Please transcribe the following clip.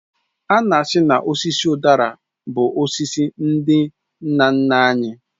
Ana asị na osisi udara bụ osisi ndị nna nna anyị